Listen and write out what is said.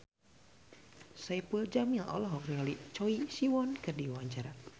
Saipul Jamil olohok ningali Choi Siwon keur diwawancara